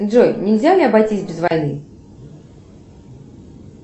джой нельзя ли обойтись без войны